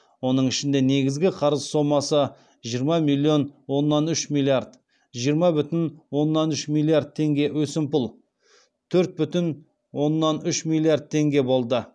оның ішінде негізгі қарыз сомасы жиырма бүтін оннан үш миллиард теңге өсімпұл төрт бүтін оннан үш миллиард теңге болды